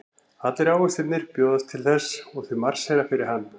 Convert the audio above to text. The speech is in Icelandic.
Allir ávextirnir bjóðast til þess og þau marsera fyrir hann.